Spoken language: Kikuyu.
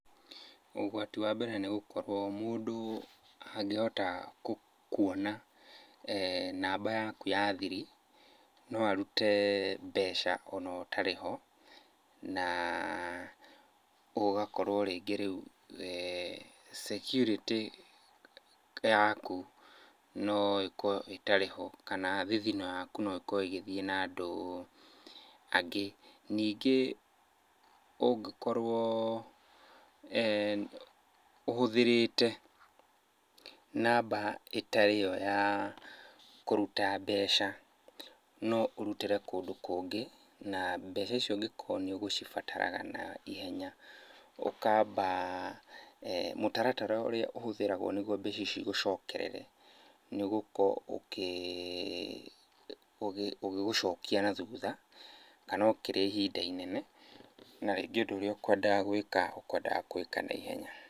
Ũgwati wa mbere nĩgũkorwo mũndũ angĩhota kuona namba yaku ya thiri no arute mbeca ona ũtarĩ ho. Na ũgakorwo rĩngĩ rĩu security yaku no ĩkorwo ĩtarĩ ho, kana thithino yaku no ĩkorwo ĩgĩthiĩ na andũ angĩ. Ningĩ ũngĩkorwo ũhũthĩrĩte namba ĩtarĩ yo ya kũruta mbeca, no ũrutĩre kũndũ kũngĩ na mbeca icio ũngĩkorwo nĩũkũcibataraga naihenya ũkamba mũtaratara ũrĩa ũhũthĩragwo nĩguo mbeca icio igũcokerere nĩgũkorwo ũkĩgũcokia na thutha kana ũkĩrĩa ihinda inene, na rĩngĩ ũndũ ũrĩa ũkwendaga gwĩka ũkwendaga kũwĩka naihenya.